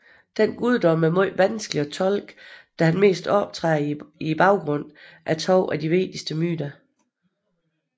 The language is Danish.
Denne guddom er meget vanskelig at tolke da han mest optræder i baggrunden af to af de vigtigste myter